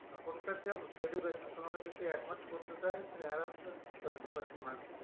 এখনকার যা education তোমাকে যদি এক মাস পড়তে তুমি আরাম সে seventy percent marks niye